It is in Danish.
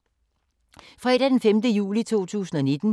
Fredag d. 5. juli 2019